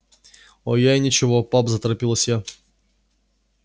оо я и ничего пап заторопилась я